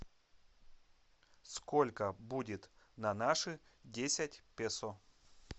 сколько будет на наши десять песо